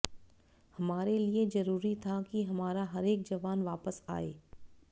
हमारे लिए जरूरी था कि हमारा हरेक जवान वापस आए